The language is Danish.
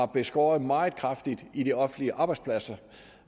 beskåret meget kraftigt i de offentlige arbejdspladser